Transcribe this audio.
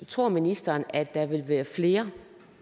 tror ministeren at der vil være flere